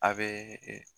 A bɛ